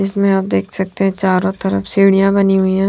इसमें आप देख सकते हैं चारों तरफ सीढ़ियां बनी हुई हैं।